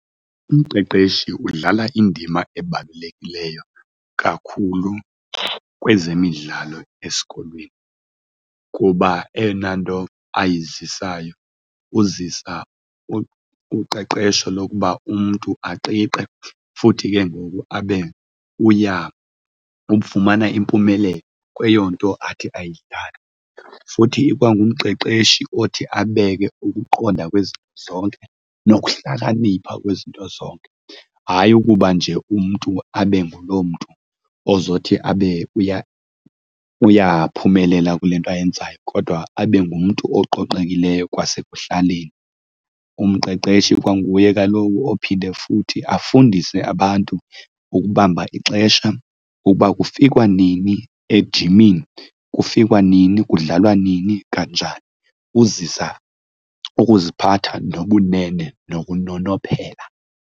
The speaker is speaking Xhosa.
Umqeqeshi udlala indima ebalulekileyo kakhulu kwezemidlalo esikolweni kuba eyona nto ayizisayo, uzisa uqeqesho lokuba umntu aqiqe futhi ke ngoku abe ufumana impumelelo kweyo nto athi ayithande. Futhi ikwangumqeqeshi othi abe ke ukuqonda kwizinto zonke nokuhlakanipha kwizinto zonke, hayi ukuba nje umntu abe nguloo mntu ozothi abe uyaphumelela kule nto ayenzayo kodwa abe ngumntu oqoqekileyo kwasekuhlaleni. Umqeqeshi ikwanguye kaloku ophinde futhi afundise abantu ukubamba ixesha ukuba kufikwa nini ejimini, kufikwa nini, kudlalwa nini kanjani. Uzisa ukuziphatha nobunene nokunonophela.